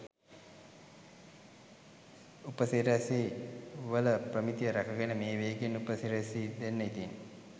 උප සිරැසි වල ප්‍රමිතිය රැකගෙන මේ වේගයෙන් උප සිරැසි දෙන්න ඉතිං .